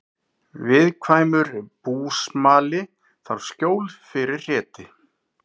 Viðkvæmur búsmali þarf skjól fyrir hreti